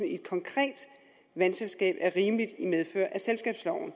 i et konkret vandselskab er rimeligt i medfør af selskabsloven